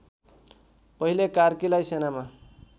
पहिले कार्कीलाई सेनामा